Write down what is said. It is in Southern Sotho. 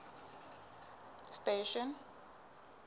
station